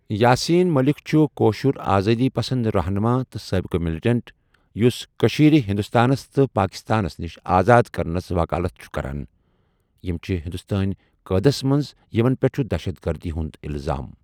یاسیٖن مٔلِک چھُ کٲشُر آزأدی پَسند رہنُما تہٕ سأبِقہٕ مِلٹنٹ یُس کٔشیٖر ہِندوستانَس تہٕ پأکِستانَس نِش آزاد کَرنَس وَکالَتھ چُھ کَران یِم چِھ ہِندوستٲنؠ قیدس مَنٛز یمن پٮ۪ٹھ چُھ دہشتگردی ہُنٛد اِلزام۔